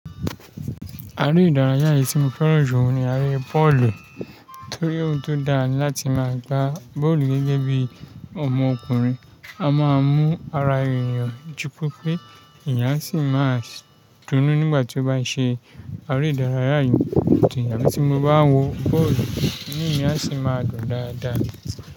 Ara ìdárayá yìí tí mo fẹ́ràn jù ní ara Pọ́ọ̀lù torí ó tó dá láti máa gba bọ́ọ̀lù gẹ́gẹ́ bí ọmọkùnrin. A máa mú ara ènìyàn jupépe, ẹ̀yà sì máa túnú nígbà tí ó bá ṣe ara ìdárayá yìí. Òntì yàn tí mo bá wọ bọ́ọ̀lù inu mi asì máa dùn dáadáa.